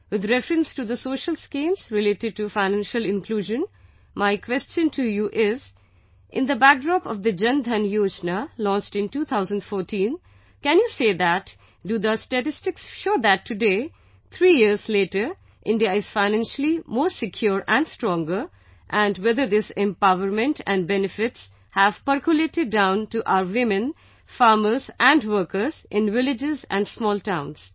With reference to the social schemes related to Financial Inclusion, my question to you is In the backdrop of the Jan DhanYojna launched in 2014, can you say that, do the statistics show that today, three years later, India is financially more secure and stronger, and whether this empowerment and benefits have percolated down to our women, farmers and workers, in villages and small towns